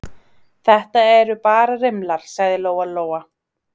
Þetta eru bara rimlar, sagði Lóa Lóa.